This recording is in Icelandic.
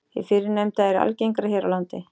Hið fyrrnefnda er algengara hér á landi.